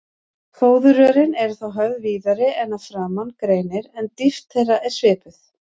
Fóðurrörin eru þá höfð víðari en að framan greinir, en dýpt þeirra er svipuð.